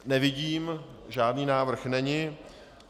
Nevidím, žádný návrh není.